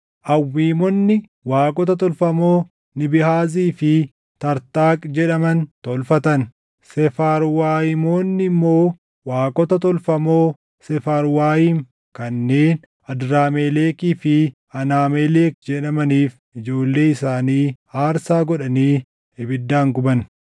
Awwiimonni waaqota tolfamoo Nibhaazii fi Tartaaq jedhaman tolfatan; Seefarwaayimoonni immoo waaqota tolfamoo Seefarwaayim kanneen Adramelekii fi Anaamelek jedhamaniif ijoollee isaanii aarsaa godhanii ibiddaan guban.